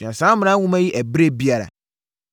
Sua saa Mmara Nwoma yi ɛberɛ biara.